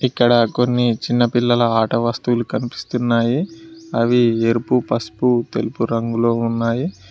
ఇక్కడ కొన్ని చిన్న పిల్లల ఆట వస్తువులు కనిపిస్తున్నాయి అవి ఏర్పు పసుపు తెలుపు రంగులో ఉన్నాయి.